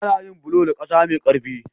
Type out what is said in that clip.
Ana yin bulo da ƙasa mai ƙarfi.